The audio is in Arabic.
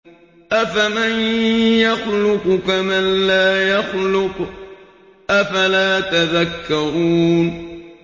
أَفَمَن يَخْلُقُ كَمَن لَّا يَخْلُقُ ۗ أَفَلَا تَذَكَّرُونَ